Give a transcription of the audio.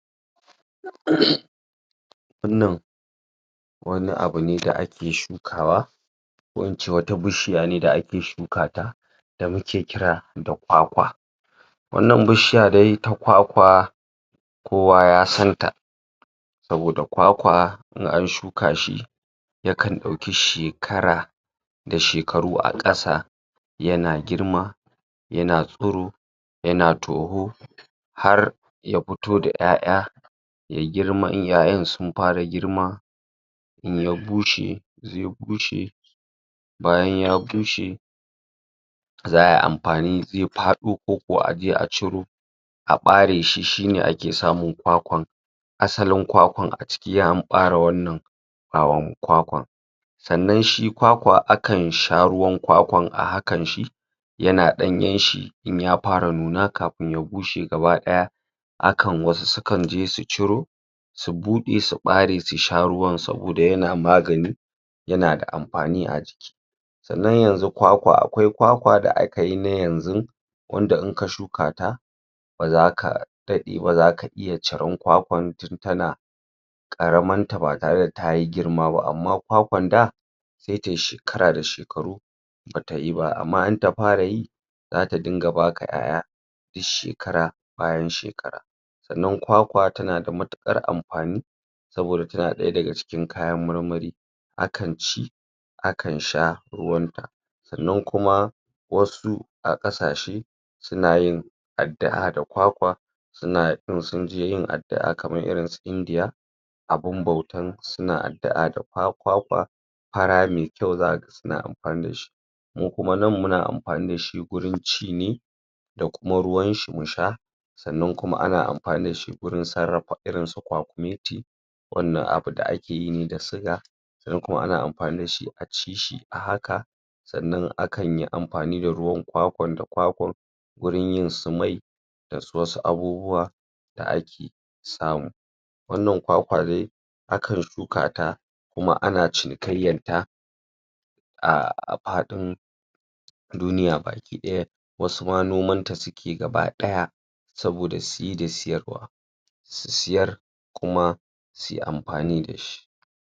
? wannan wani abu ne da ake shukawa wancan wata bishiya ne da ake shukata da ake kira da kwakwa wannan bishiya dai ta Kwakwa kowa ya santa saboda Kwakwa in an shuka shi yakan ɗauki shekara da shekaru a ƙasa yana girma yana tsiro yana toho har ya fito da 'ya'ya ya girma in 'ya'yan sun fara girma ya bushe ya bushe bayan ya bushe za ai amfani zai faɗo ko kuwa aje a ciro a ɓare shi shi ne ake samun Kwakwan asalin Kwakwan a ciki an ɓare wannan ɓawaon Kwakwan sannan shi Kwakwa akan sha ruwan Kwakwan a hakan shi yana ɗanyen shi in ya fara nuna kafin ya bushe gabaɗaya akan wasu sukan je su ciro su buɗe su ɓare su sha ruwan saboda yana magani yana da amfani a jiki sannan yanzu Kwakwa akwai Kwakwa da aka yi na na yanzu wanda in ka shuka ta ba za aka daɗe ba zaka iya cirar Kwakwan tun tana ƙaramarta ba tare da ta girma ba amma Kwakwan da sai tai shekara da shekaru bata yi ba amma in ta fara yi za ta dinga baka 'ya'ya dus shekara bayan shekara sannan Kwakwa tana da matuƙara amfani saboda tana ɗaya daga cikin kayan marmari akan ci akan sha ruwanta sannan kuma wasu a ƙasashe suna yin addu'a da kwakwa suna in sun je yin addu' a kamar irinsu Indiya a gun bautansu suna addu'a da Kwakwa fara me kyau zaka ga suna amfani da shi mu kuma nan muna amfani da shi gurin ci ne da kuma ruwan shi mu sha sannan kuma ana amfani da shi gurin sarrafa irinsu Kwakumeti wannan abu da ake yi ne da Siga sannan kuma ana amfani da shi a ci shi a haka sannan akan yi amfani da ruwan Kwakwan da Kwakwan gurin yin su mai da wasu abubuwa da ake samu wannan Kwakwa dai akan shukata kuma ana cinikayyanta a faɗin duniya baki ɗaya wasu ma nomanta suke gabaɗaya saboda siye da siyarwa si siyar kuma sui amfani da shi